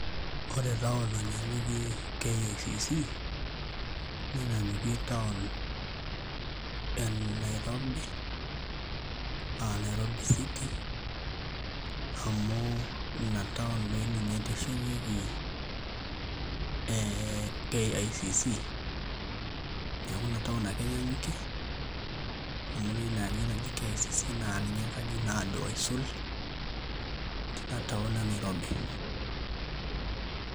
Ore town nanyanyukie KICC, nenyanyukie town e Nairobi aa Nairobi city amu ina town doin ninye eteshetieki ee KICC, neeku ina town ake enyanyukie amu ore ina aji naji KICC naa ninye enkaji naado aisul tina town e Nairobi.